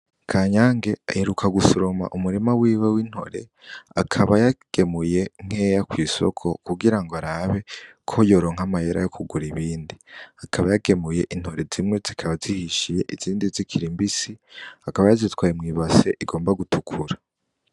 Kanyange aheruka gusoroma umurima wiwe w'intore, akaba yagemuye nkeya kw'isoko kugira arabe ko yoronka amahera yo kugura ibindi, akaba yagemuye intore, zimwe zikaba zihishiye, izindi zikiri mbisi, akaba yazitwaye mw'ibase igomba gutukura.